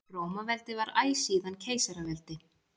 Rómaveldi var æ síðan keisaraveldi.